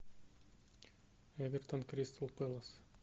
эвертон кристал пэлас